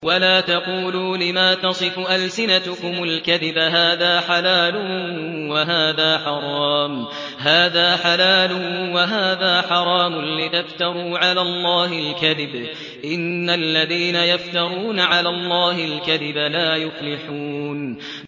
وَلَا تَقُولُوا لِمَا تَصِفُ أَلْسِنَتُكُمُ الْكَذِبَ هَٰذَا حَلَالٌ وَهَٰذَا حَرَامٌ لِّتَفْتَرُوا عَلَى اللَّهِ الْكَذِبَ ۚ إِنَّ الَّذِينَ يَفْتَرُونَ عَلَى اللَّهِ الْكَذِبَ لَا يُفْلِحُونَ